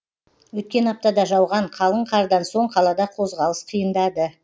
өткен аптада жауған қалың қардан соң қалада қозғалыс қиындады